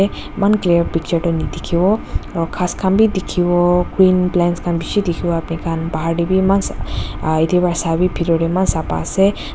eman clear picture toh nadikhiwo aro ghas khan bi dikhiwo green plants khan bishi dikhiwo apnikhan bahar tey bi eman sa ah yate pa sa bi bhitor tae eman sapa ase ta--